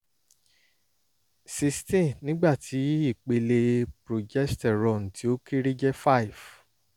sixteen nígbà tí ipele progesterone tí ó kéré jẹ́ five